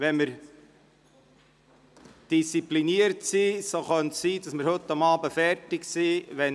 Wenn wir diszipliniert sind, könnte es sein, dass wir heute Abend fertig werden.